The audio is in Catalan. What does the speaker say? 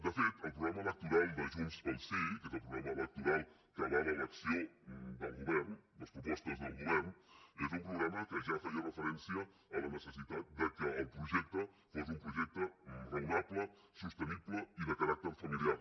de fet el programa electoral de junts pel sí que és el programa electoral que avala l’acció del govern les propostes del govern és un programa que ja feia referència a la necessitat que el projecte fos un projecte raonable sostenible i de caràcter familiar